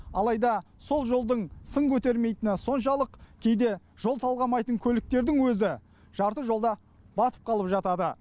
алайда сол жолдың сын көтермейтіні соншалық кейде жол талғамайтын көліктердің өзі жарты жолда батып қалып жатады